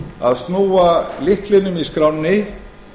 að snúa lyklinum í skránni